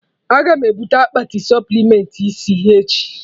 Aga m ebute akpati supplementị isi echi